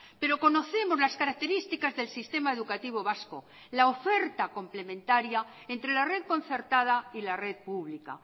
pero conocemos las características del sistema educativo vasco la oferta complementaria entre la red concertada y la red pública